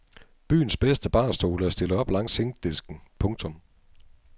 Byens bedste barstole er stillet op langs zinkdisken. punktum